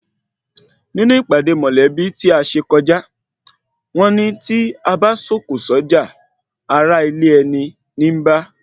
Nínú ìpàdé mọ̀lẹ́bí tí o kọjá, wọ́n ní tí abá sọ̀kò sọ́jà, ará ilé ẹni níí bá